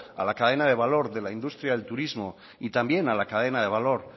a la cadena de valor de la industria del turismo y también a la cadena de valor